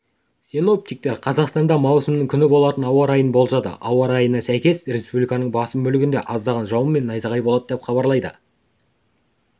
синоптиктер қазақстанда маусымның күні болатын ауа райын болжады ауа райына сәйкес республиканың басым бөлігінде аздаған жауын мен найзағай болады деп хабарлайды